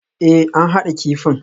Ee, an haɗa kifin